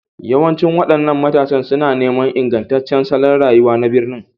Yawancin waɗannan matasa suna neman ingantaccen salon rayuwa na birni,